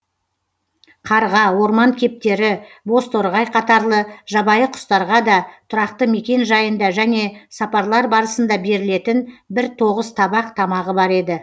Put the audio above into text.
қарға орман кептері бозторғай қатарлы жабайы құстарға да тұрақты мекен жайында және сапарлар барысында берілетін бір тоғыз табақ тамағы бар еді